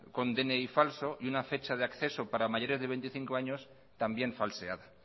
con dni falso y una fecha de acceso para mayores de veinticinco años también falseada